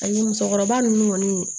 Ani musokɔrɔba ninnu kɔni